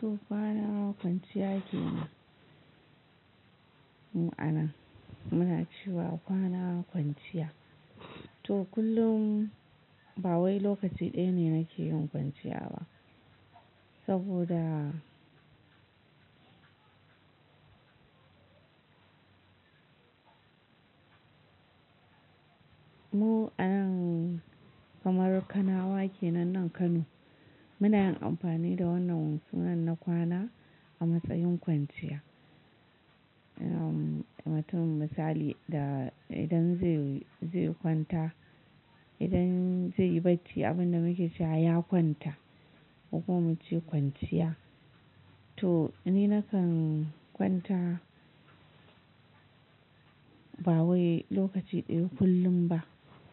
To kwana kwanciya ke mu anan, muna cewa kwana kwanciya. To kullum ba wai lokaci ɗaya ne nake yin kwanciya ba saboda mu an kamar kanawa kenan nan Kano. Muna yin amfani da wannan sunan na kwana a matsayin kwanciya. Mutum misali da idan zai, zai kwanta, idan zai yi bacci abin da muke cewa ya kwanta, ko kuma muce kwanciya. To ni na kan kwanta ba wai lokaci ɗaya kullum ba.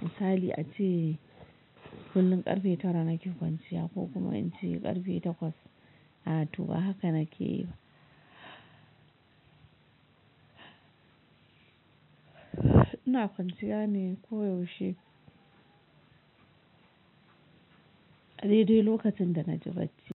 Misali ace kullum karfe tara nake kwanciya ko kuma in ce karfe takwas. A to ba haka nake yi ba. Ina kwanciya ne koyaushe dai dai lokacin da na ji bacci.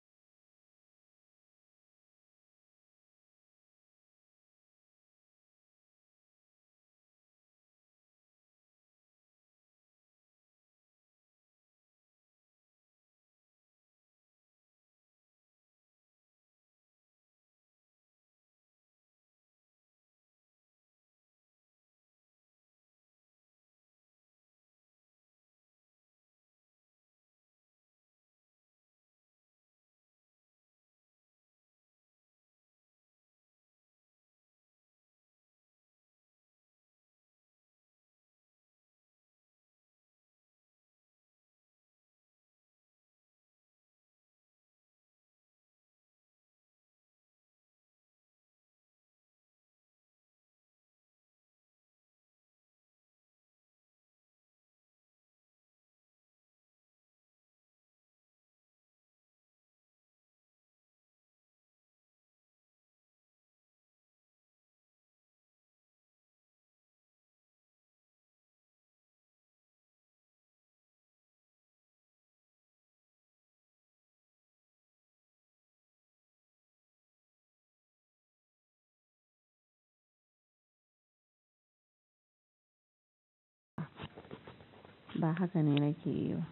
Ba haka ne nake yi ba.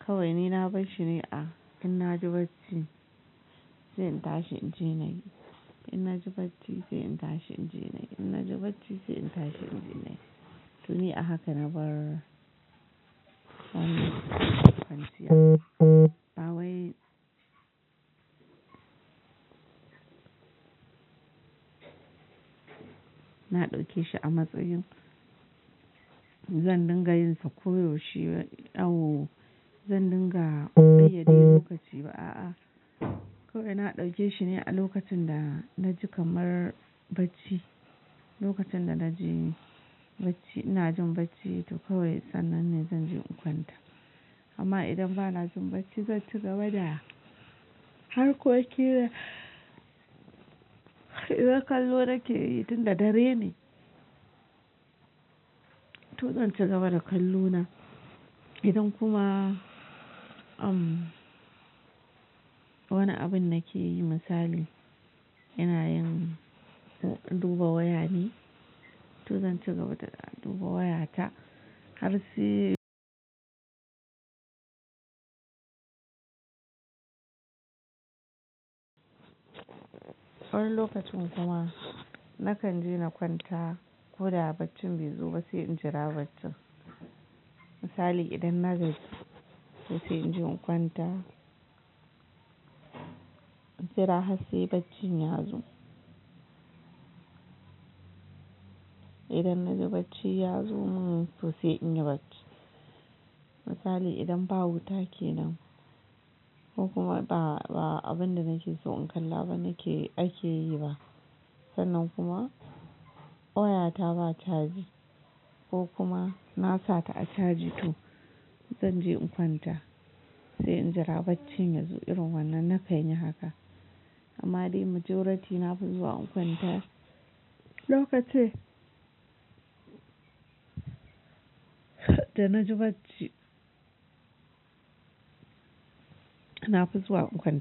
Kawai ni na bar shine a in na ji bacci sai in tashi in je na yi, in na ji bacci sai in tashi in je na yi, in na ji bacci sai in tashi in je na yi. To ni a haka na bar kwanciya. Ba wai na ɗauke shi a matsayin zan dinga yin sa ko yau she. Au zandinga biye daui lokaci ba. A'a kawai na ɗauke shi ne a lokacin da na ji kamar bacci. Lokacin da na ji bacci ina jin bacci to kawai sannan ne zan je in kwanta. Amma idan ba na jin bacci zan ci gaba da harkokina idan kallo nake yi tun da dare ne. To zan ci gaba da kallo na. Idan kuma wani abin nake yi misali ina duba wayane to zan ci gaba da duba wayata har sai wani lokacin kuma na kan je na kwanta ko da a baccin bai zo ba sai in jira bacci. Misali idan na gaji to sai in je in kwanta sai in jira har sai baccin ya zo. Idan na ji bacci ya zo min to sai in yi bacci. Misali idan ba huta ke nan ko kuma ba abin da nake so in kalla ba ake yi ba. Sannan kuma wayata ba caji ko kuma na sa ta a caji to zan je in kwanta sai in jira baccin ya zo irin wannan na kan yi haka. Amma dai majorati na fi zuwa in kwanta lokacin da na ji bacci. Na fi zuwa in kwanta.